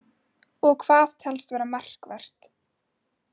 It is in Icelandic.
Og hvað telst vera markvert?